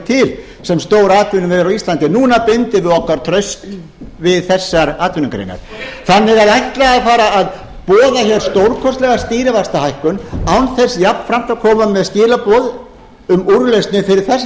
til sem stór atvinnuvegur á íslandi núna bindum við okkar traust við þessar atvinnugreinar að ætla að fara að boða hér stórkostlega stýrivaxtahækkun án þess jafnframt að koma með skilaboð um úrlausnir fyrir þessar